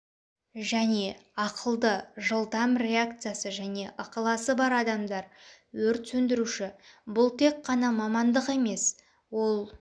және ақылды жылдам реакциясы және ықыласы бар адамдар өрт сөндіруші-бұл тек қана мамандық емес ол